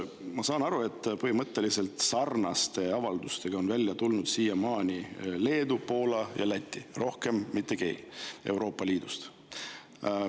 Ma saan aru, et põhimõtteliselt sarnaste avaldustega on seni välja tulnud Leedu, Poola ja Läti, rohkem mitte keegi Euroopa Liidust.